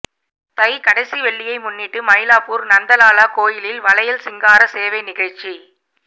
தை கடைசி வெள்ளியை முன்னிட்டு மயிலாப்பூர் நந்தலாலா கோயிலில் வளையல் சிங்கார சேவை நிகழ்ச்சி